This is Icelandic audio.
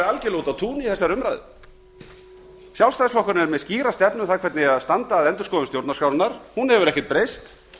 algjörlega úti á túni í þessari umræðu sjálfstæðisflokkurinn er með skýra stefnu um það hvernig eigi að standa að endurskoðun stjórnarskrárinnar hún hefur ekkert breyst